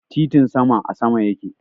Titin sama a sama yake.